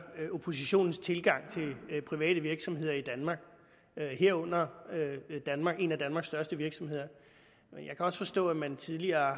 oppositionens tilgang til private virksomheder i danmark herunder en af danmarks største virksomheder men jeg kan også forstå at man tidligere